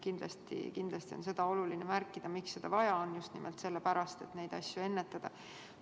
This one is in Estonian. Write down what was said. Kindlasti on oluline märkida, miks seda vaja on: just nimelt sellepärast, et neid asju ennetada.